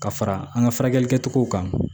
Ka fara an ka furakɛli kɛcogow kan